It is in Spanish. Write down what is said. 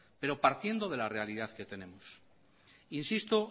pero partiendo de la realidad que tenemos insisto